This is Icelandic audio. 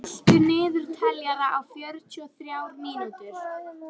Deníel, stilltu niðurteljara á fjörutíu og þrjár mínútur.